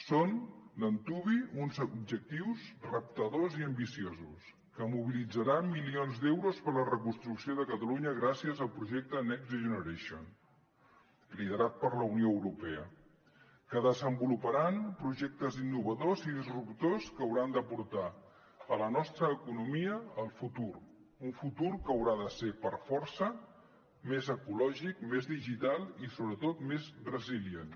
són d’antuvi uns objectius reptadors i ambiciosos que mobilitzaran milions d’euros per a la reconstrucció de catalunya gràcies al projecte next generation liderat per la unió europea que desenvoluparan projectes innovadors i disruptors que hauran de portar la nostra economia al futur un futur que haurà de ser per força més ecològic més digital i sobretot més resilient